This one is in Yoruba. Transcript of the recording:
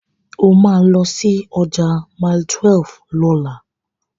O máa lọ sí ọjà Mile12 lọ́la.